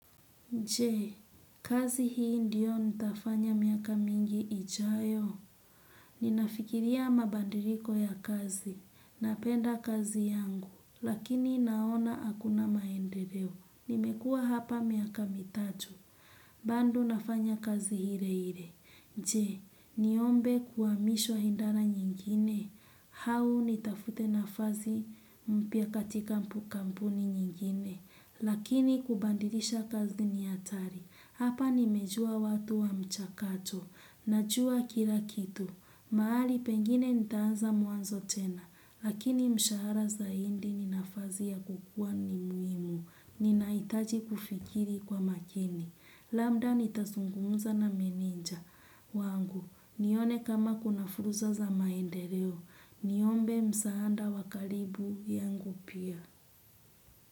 Je, kazi hii ndiyo nitafanya miaka mingi ijayo. Ninafikiria mabadiliko ya kazi. Napenda kazi yangu. Lakini naona hakuna maendeleo. Nimekuwa hapa miaka mitatu. Bado nafanya kazi ile ile. Je, niombe kuhamishwa idara nyingine. Au nitafute nafasi mpya katika kampuni nyingine. Lakini kubadilisha kazi ni hatari, hapa nimejua watu wa mchakato, najua kila kitu, mahali pengine nitaanza mwanzo tena, lakini mshahara zaidi ni nafasi ya kukua ni muhimu, ninahitaji kufikiri kwa makini, labda nitazungumza na meneja. Wangu, nione kama kuna fursa za maendeleo, niombe msaada wa karibu yangu pia.